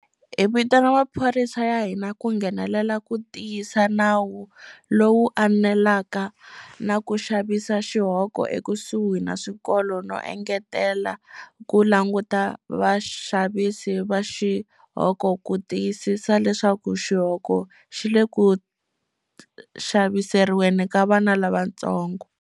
Hi vitana maphorisa ya hina ku nghenelela ku tiyisa nawu lowu anelaka na ku xavisa xihoko ekusuhi na swikolo no engetela ku languta vaxavisi va xihoko ku tiyisisa leswaku xihoko xi le ku xaviseriweni ka vana lavantsongo.